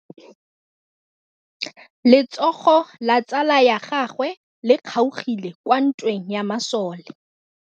Letsôgô la tsala ya gagwe le kgaogile kwa ntweng ya masole.